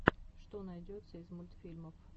что найдется из мультфильмов